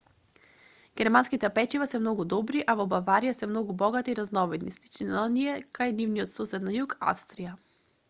германските печива се многу добри а во баварија се многу богати и разновидни слични на оние кај нивниот сосед на југ австрија